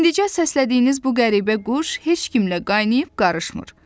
İndicə səslədiyiniz bu qəribə quş heç kimlə qaynayıb-qarışmır.